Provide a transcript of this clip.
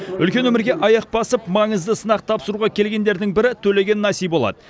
үлкен өмірге аяқ басып маңызды сынақ тапсыруға келгендердің бірі төлеген насиболат